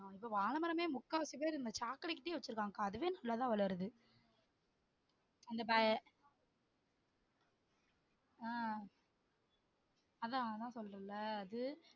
அங்க வாழமரமே முக்காவாசி பேர் இந்த சாக்கடை கிட்டயே வச்சுருக்காங்கக்கா அதுவே நல்ல தான் வளருது அந்த ஆஹ் அதான் அதான் சொல்றேன்ல அது